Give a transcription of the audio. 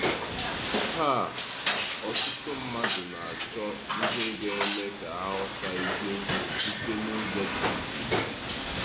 Taa, ọtụtụ mmadụ na-achọ ihe ga-eme ka ha ghọta eziokwu site n’ụzọ dị iche iche.